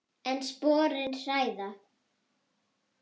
En sporin hræða.